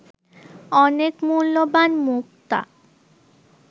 অনেক মূল্যবান মুক্তা